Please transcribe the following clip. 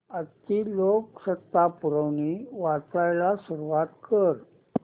आजची लोकसत्ता पुरवणी वाचायला सुरुवात कर